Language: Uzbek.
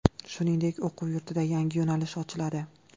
Shuningdek, o‘quv yurtida yangi yo‘nalish ochiladi.